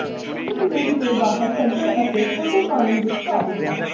ਇੱਕ ਮਿੰਟ ਦੇ ਬਾਹਰ ਕੱਢਣ ਅਤੇ ਠੰਡੇ ਪਾਣੀ ਵਿੱਚ ਪਾ ਦਿੱਤਾ